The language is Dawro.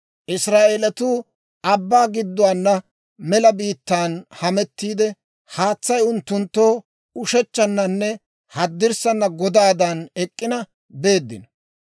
Israa'eeletuu abbaa gidduwaana mela biittaan hametiidde, haatsay unttunttoo ushechchannanne haddirssaana godaadan ek'k'ina beeddino.